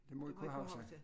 Det må vi kunne huske